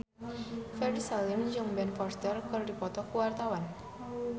Ferry Salim jeung Ben Foster keur dipoto ku wartawan